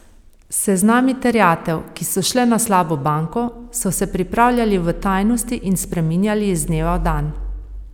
Seznami terjatev, ki so šle na slabo banko, so se pripravljali v tajnosti in spreminjali iz dneva v dan.